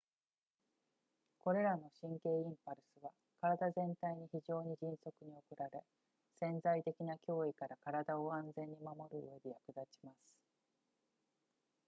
これらの神経インパルスは体全体に非常に迅速に送られ潜在的な脅威から体を安全に守るうえで役立ちます